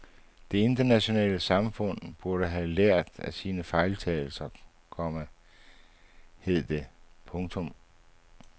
Det internationale samfund burde have lært af sine fejltagelser, komma hed det. punktum